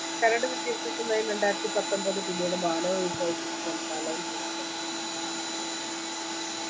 കരട് വിദ്യാഭ്യാസനയം രണ്ടായിരത്തിപത്തൊമ്പത് പിന്നീട് മാനവ വിഭവശേഷി മന്ത്രാലയം പുറ